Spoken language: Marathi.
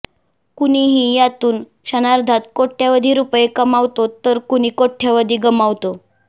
कुणीही यातून क्षणार्धात कोटय़वधी रुपये कमावतो तर कुणी कोटय़वधी गमावतो